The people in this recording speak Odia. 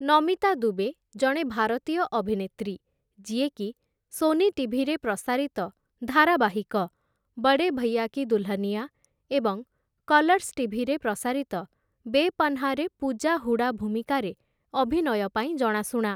ନମିତା ଦୁବେ, ଜଣେ ଭାରତୀୟ ଅଭିନେତ୍ରୀ ଯିଏକି ସୋନି ଟିଭିରେ ପ୍ରସାରିତ ଧାରାବାହିକ 'ବଡ଼େ ଭୈୟା କି ଦୁଲ୍‌ହନିଆ' ଏବଂ କଲର୍ସ ଟିଭିରେ ପ୍ରସାରିତ 'ବେପନାହ୍'ରେ ପୂଜା ହୁଡା ଭୂମିକାରେ ଅଭିନୟ ପାଇଁ ଜଣାଶୁଣା ।